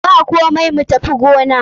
Bakomai, mu tafi gona.